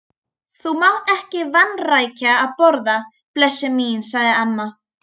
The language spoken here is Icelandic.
Þú mátt ekki vanrækja að borða, blessuð mín, sagði amma.